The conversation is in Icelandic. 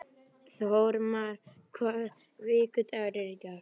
Þórmar, hvaða vikudagur er í dag?